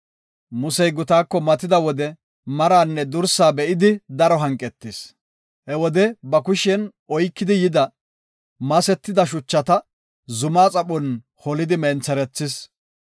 Musey gutaako matida wode maranne dursaa be7idi daro hanqetis. He wode ba kushen oykidi yida, masetida shuchata zumaa xaphon holidi mentherethis.